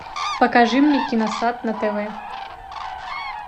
покажи мне киносат на тв